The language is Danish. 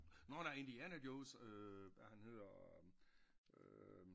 Nårh nej Indiana Jones øh ja han hedder øh